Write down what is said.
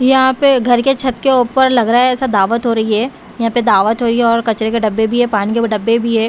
यहाँ पे घर के छत के ऊपर लग रहा है ऐसा दावत हो रही है यहाँ पे दावत हो रही है और कचरे के डब्बे भी हैं पानी के डब्बे भी हैं।